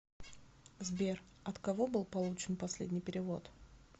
сбер от кого был получен последний перевод